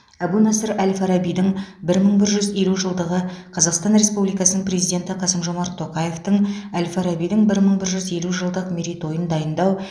әбу насыр әл фарабидің бір мың бір жүз елу жылдығы қазақстан республикасының президенті қасым жомарт тоқаевтың әл фарабидің бір мың бір жүз елу жылдық мерейтойын дайындау